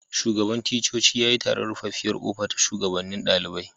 Shugaban ticcoci ya yi taron ruffafiyar kofa da shugabanen dalibain.